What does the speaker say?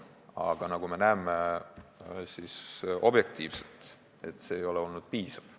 Aga nagu me objektiivselt näeme, see ei ole olnud piisav.